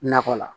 Nakɔ la